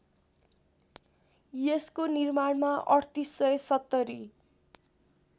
यसको निर्माणमा ३८७०